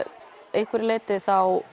einhverju leyti þá